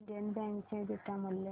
Indian bank चे beta मूल्य